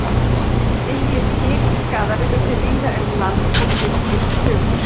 Miklir skipsskaðar urðu víða um land og kirkjur fuku.